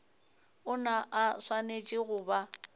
ona a swanetše go ba